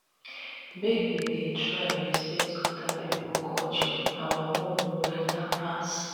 make we dey try respect oda pipo culture our own no beta pass.